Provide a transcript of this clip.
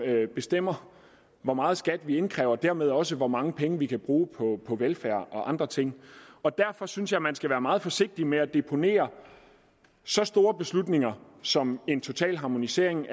bestemmer hvor meget skat vi indkræver og dermed også hvor mange penge vi kan bruge på velfærd og andre ting og derfor synes jeg man skal være meget forsigtig med at deponere så store beslutninger som en total harmonisering